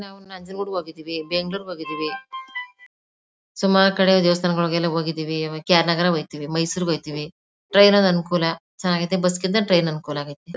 ನಾವು ನಂಜುಗುಡ್ ಗೆ ಹೋಗಿದ್ವಿ ಬೆಂಗಳೂರಿಗೆ ಹೋಗಿದ್ವಿ ಸುಮ್ಮರು ಕಡೆ ದೇವಸ್ಥಾನಗಳಿಗೆ ಹೋಗಿದ್ವಿ ಕೆ.ಆರ್ ನಗರ್ಗೆ ಹೋಗಿದ್ವಿ ಮೈಸೂರ್ಗೆ ಹೋಗಿದ್ವಿ ಟ್ರೈನ್ ಏ ಅನುಕೂಲ ಚೆನ್ನಾಗಿದೆ ಬಸ್ ಕಿಂತ ಟ್ರೈನ್ ಅನುಕೂಲ ಆಗಾಯಿತಿ.